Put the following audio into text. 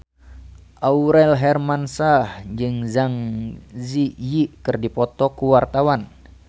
Aurel Hermansyah jeung Zang Zi Yi keur dipoto ku wartawan